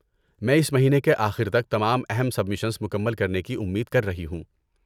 میں اس مہینے کے آخر تک تمام اہم سبمیشنز مکمل کرنے کی امید کر رہی ہوں۔